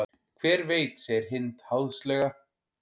Hver veit segir Hind háðslega.